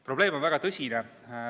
Probleem on väga tõsine.